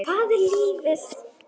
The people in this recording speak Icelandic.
Hvað er lífið?